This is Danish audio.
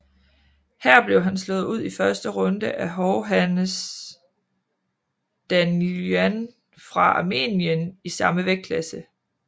Her blev han slået ud i første runde af Hovhannes Danielyan fra Armenien i samme vægtklasse